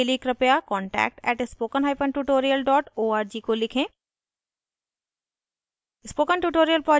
अधिक जानकारी के लिए कृपया contact @spokentutorial org को लिखें